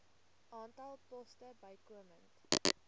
aantal poste bykomend